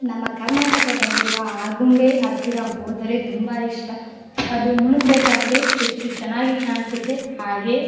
ನಮ್ಮ ಕರ್ನಾಟಕದಲ್ಲಿರುವ ಆಗುಂಬೆ ಹತ್ತಿರ ಹೋದರೆ ತುಂಬಾ ಇಷ್ಟ ಅದು ಮುಳುಗ್ಬೇಕಾದ್ರೆ ಅದು ಎಷ್ಟು ಚೆನ್ನಾಗಿ ಕಾಣ್ಸುತ್ತೆ ಹಾಗೆ --